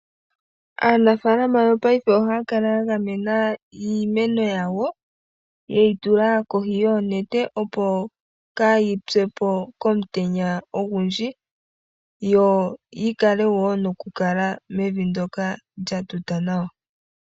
Aanafaalama yopaife ohaya kala ya gamena iimeno yawo ye yi tula kohi yoonete opo kaa yi pye ko komutenya ogundji yo yi kale wo noku kala mevi ndoka lya tuta nawa.